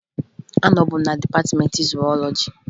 Anọbu m na dịpatịmeentị zuwọlọji